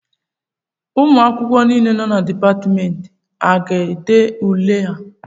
Ụmụ akwụkwọ niile nọ na Dipatmentị a ga-ede ule a?